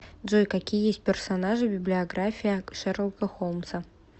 джой какие есть персонажи в библиография шерлока холмса